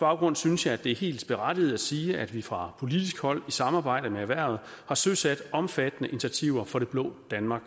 baggrund synes jeg at det er helt berettiget at sige at vi fra politisk hold i samarbejde med erhvervet har søsat omfattende initiativer for det blå danmark